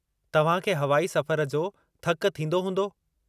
तव्हां खे हवाई सफ़र जो थकु थींदो हूंदो।